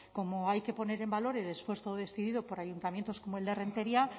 como hay que poner en valor el esfuerzo decidido por ayuntamientos como el de renteria